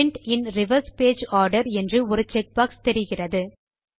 print in reverse page order என்று ஒரு check box தெரிகிறது